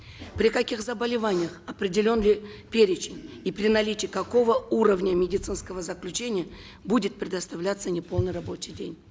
при каких заболеваниях определен ли перечень и при наличии какого уровня медицинского заключения будет предоставляться неполный рабочий день